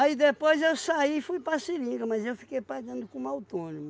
Aí depois eu saí e fui para a seringa, mas eu fiquei pagando como autônomo.